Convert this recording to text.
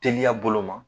Teliya bolo ma